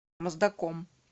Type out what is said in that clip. моздоком